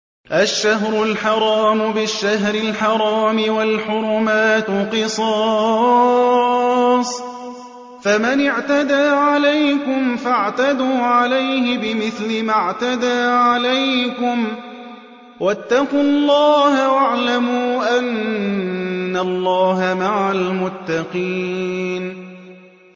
الشَّهْرُ الْحَرَامُ بِالشَّهْرِ الْحَرَامِ وَالْحُرُمَاتُ قِصَاصٌ ۚ فَمَنِ اعْتَدَىٰ عَلَيْكُمْ فَاعْتَدُوا عَلَيْهِ بِمِثْلِ مَا اعْتَدَىٰ عَلَيْكُمْ ۚ وَاتَّقُوا اللَّهَ وَاعْلَمُوا أَنَّ اللَّهَ مَعَ الْمُتَّقِينَ